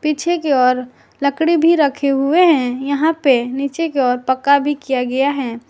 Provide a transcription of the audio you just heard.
पीछे की ओर लकड़ी भी रखे हुए हैं यहां पे नीचे के ओर पक्का भी किया गया है।